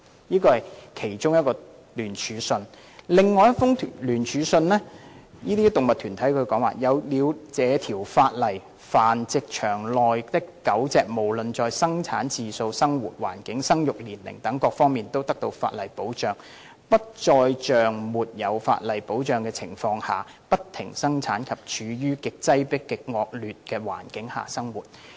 "有動物團體在另一封聯署信內表示："有了這條法例，繁殖場內的狗隻無論在生產次數、生活環境、生育年齡等各方面都得到法例保障，不再像沒有法例保障的情況下，不停生產及處於極擠迫的惡劣環境下生活。